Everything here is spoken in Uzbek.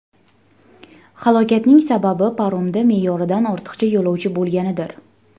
Halokatning sababi paromda me’yoridan ortiq yo‘lovchi bo‘lganidir.